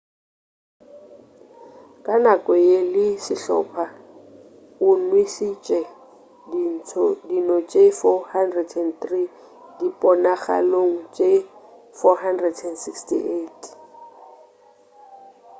ka nako ye le sehlopha o nwešitše dino tše 403 diponagalong tše 468